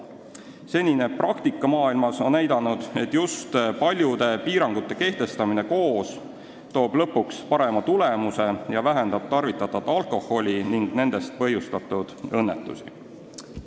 Senine praktika maailmas on näidanud, et just paljude piirangute koos kehtestamine toob lõpuks parema tulemuse ning vähendab alkoholi tarvitamist ja sellest põhjustatud õnnetusi.